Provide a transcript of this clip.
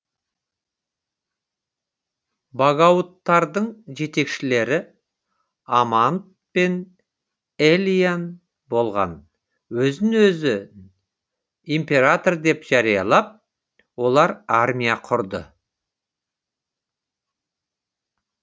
багаудтардың жетекшілері аманд пен элиан болған өзін өзі император деп жариялап олар армия құрды